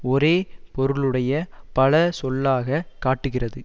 ஒரே பொருளுடைய பல சொல்லாகக் காட்டுகிறது